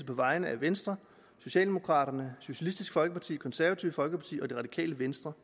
vegne af venstre socialdemokraterne socialistisk folkeparti det konservative folkeparti og det radikale venstre